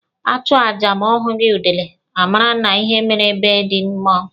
A chụọ aja ma a hụghị udele, a mara na ihe mere be ndị mmụọ.